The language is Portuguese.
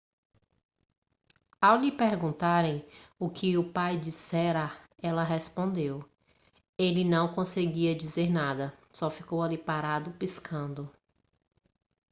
ao lhe perguntarem o que o pai dissera ela respondeu ele não conseguia dizer nada só ficou ali parado piscando